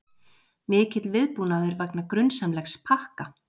Mikill viðbúnaður vegna grunsamlegs pakka